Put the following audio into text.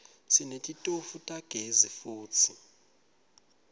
sinetitofu tagezi futsi